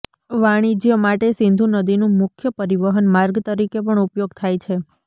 વાણિજ્ય માટે સિંધુ નદીનું મુખ્ય પરિવહન માર્ગ તરીકે પણ ઉપયોગ થાય છે